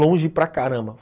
Longe para caramba.